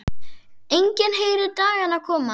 Enginn heyrir dagana koma.